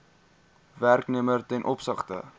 werknemer ten opsigte